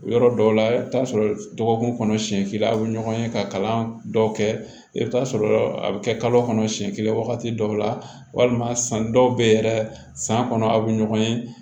Yɔrɔ dɔw la i bɛ taa sɔrɔ dɔgɔkun kɔnɔ siɲɛ kelen aw bɛ ɲɔgɔn ye ka kalan dɔw kɛ i bɛ taa sɔrɔ a bɛ kɛ kalo kɔnɔ siɲɛ kelen wagati dɔw la walima san dɔw bɛ yɛrɛ san kɔnɔ aw bɛ ɲɔgɔn ye